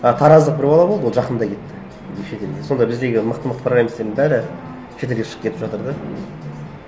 а тараздық бір бала болды ол жақында кетті нешеде сонда біздегі мықты мықты програмистердің бәрі шетелге шығып кетіп жатыр да